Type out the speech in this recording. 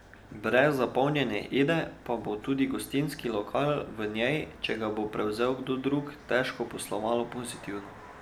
Brez zapolnjene Ede pa bo tudi gostinski lokal v njej, če ga bo prevzel kdo drug, težko posloval pozitivno.